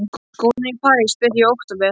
Skólarnir í París byrja í október.